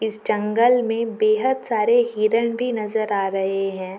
इस जंगल में बेहत सारे हिरण भी नजर आ रहे है।